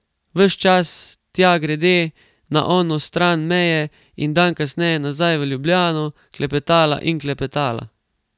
In ves čas, tja grede, na ono stran meje, in dan kasneje nazaj v Ljubljano, klepetala in klepetala.